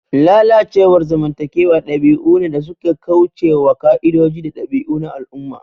Lalacewar zamantakewa dabi'u ne da suka kauce wa ƙa'idoji da dabi'u na al'umma.